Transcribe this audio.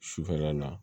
Sufɛla in na